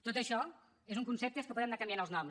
tot això són conceptes que podem anar canviant els noms